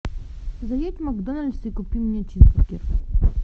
заедь в макдональдс и купи мне чизбургер